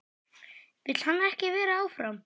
Vill hann ekki vera áfram?